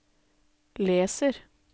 leser